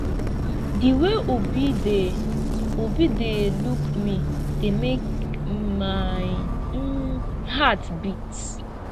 the way obi dey obi dey look me dey make my um heart beat